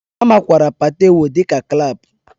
A makwaara Patewo dị ka Clap